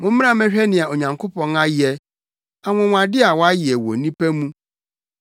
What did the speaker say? Mommra mmɛhwɛ nea Onyankopɔn ayɛ; anwonwade a wayɛ wɔ nnipa mu.